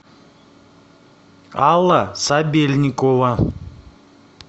алла сабельникова